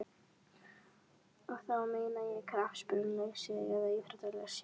Og þá meina ég knattspyrnulega séð eða íþróttalega séð?